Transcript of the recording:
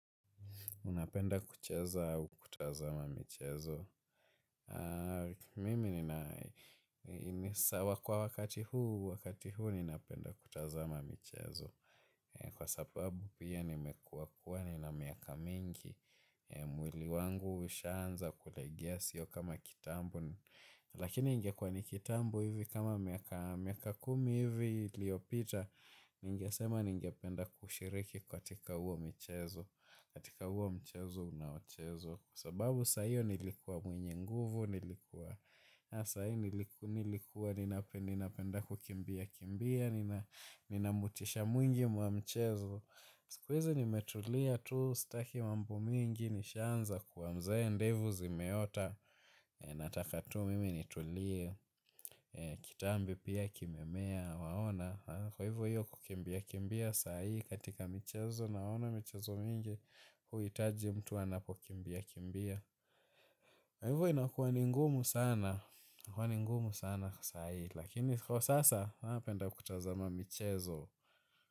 Unapenda kucheza au kutazama michezo? Mimi ninaishiwa na wakati huu, wakati huu ninapenda kutazama mchezo. Kwa sababu pia nimekuwa na miaka mingi, mwili wangu umeshaanza kulegea sio kama kitambo. Lakini ingekuwa ni kitambo hivi kama miaka kumi hivi iliyopita, ningesema ningependa kushiriki katika huo mchezo. Katika huo mchezo unaochezwa, kwa sababu saa hiyo nilikuwa mwenye nguvu, nilikuwa nilikuwa, nilikuwa ninapenda kukimbia kimbia, ninamotisha mwingi wa mchezo, siku hizi, nimetulia tu, sitaki mambo mingi, nishaanza kuwa mzee, ndevu zimeota. Natataka mimi nitulie, kitambi pia kimemea, waona? Kwa hivyo kukimbia kimbia siyo katika mchezo, naona mchezo mwingi kuhitaji mtu anapokimbia kimbia. Kwa hivyo inakuwa ngumu sana, inakuwa ni ngumu sana kwa saai, lakini kwa sasa napenda kutazama michezo.